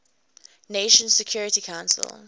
nations security council